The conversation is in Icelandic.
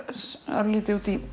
örlítið út í